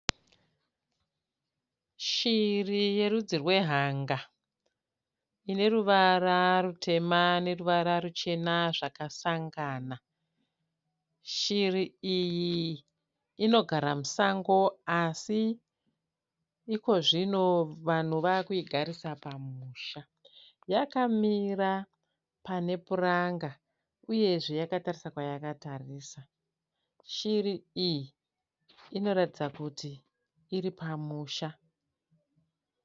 Shiri yerudzi rwehanga ineruvara rutema neruvara ruchena zvakasangana. Shiri iyi inogara musango asi ikozvino vanhu vakuigarisa pamusha. Yakamira pane puranga uyezve yakatarisa kwayakatarisa, shiri iyi inotaridza kuti iripamusha.